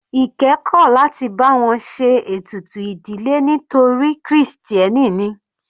Ike kò láti bá wọn ṣe ètùtù ìdílé torí krìstẹ́nì ni.